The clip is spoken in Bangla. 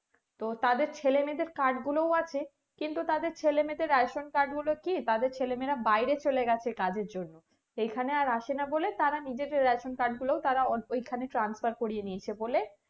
তো তাদের ছেলে মেয়েদের card গুলো আছে কিন্তু তাদের ছেলে মেয়েদের ration card গুলো কি তাদের ছেলে মেয়েরা বাইরে চলে গেছে কাজের জন্য এখানে আর আসেনা বলে তারা নিজেদের ration card গুলো ওই খানে transfer করিয়ে নিয়েছে বলে